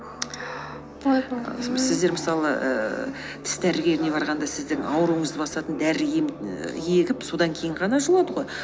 ойбай сіздер мысалы ііі тіс дәрігеріне барғанда сіздің ауруыңызды басатын дәрі ем і егіп содан кейін ғана жұлады гой